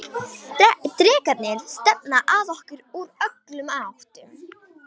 Drekarnir stefna að okkur úr öllum áttum.